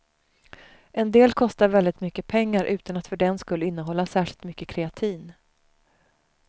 En del kostar väldigt mycket pengar utan att för den skull innehålla särskilt mycket kreatin.